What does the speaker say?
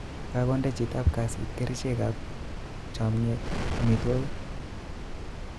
Kakonde chitap kasit kerichekap chomyet omotwokik